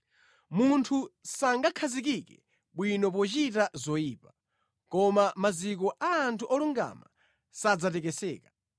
Munthu sangakhazikike bwino pochita zoyipa, koma maziko a anthu olungama sadzatekeseka.